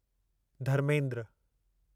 Dharmendra